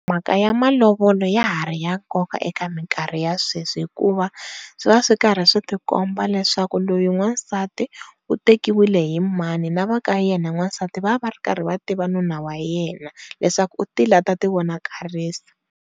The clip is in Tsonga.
Mhaka ya malovola ya ha ri ya nkoka eka mikarhi ya sweswi hikuva swi karhi swi tikomba leswaku loyi n'wansati u tekiwile hi mani na va ka yena n'wasati va va va ri karhi va tiva nuna wa yena leswaku u tile a ta ti vonakarisa.